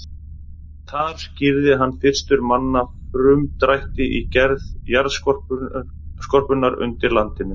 Þar skýrði hann fyrstur manna frumdrætti í gerð jarðskorpunnar undir landinu.